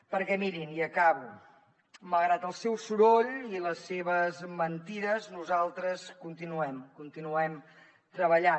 perquè mirin i acabo malgrat el seu soroll i les seves mentides nosaltres continuem continuem treballant